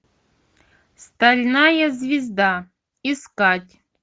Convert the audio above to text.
стальная звезда искать